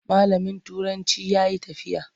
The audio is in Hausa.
Malamin turancin ya yi tafiya.